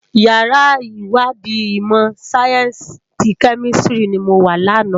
Iyàrá iwàdí imò sáyènsí ti Kèmìsítìrí ni mó wá làná